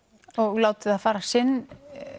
og látið það fara sinn